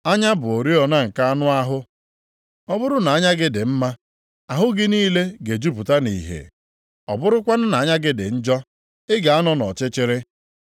Anya bụ oriọna nke anụ ahụ. Ọ bụrụ na anya gị dị mma, ahụ gị niile ga-ejupụta nʼìhè. Ọ bụrụkwanụ na anya gị dị njọ, ị ga-anọ nʼọchịchịrị.